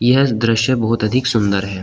यह दृश्य बहुत अधिक सुंदर है।